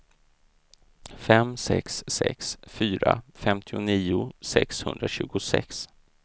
fem sex sex fyra femtionio sexhundratjugosex